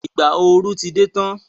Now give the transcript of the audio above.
Ìgbà ooru ti dé tán.